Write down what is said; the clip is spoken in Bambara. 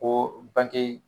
Ko bange